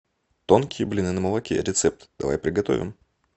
тонкие блины на молоке рецепт давай приготовим